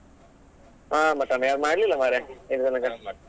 ಆ mutton ಯಾರು ಮಾಡ್ಲಿಲ್ಲ ಮಾರೆ ಇಲ್ಲಿ ತನಕ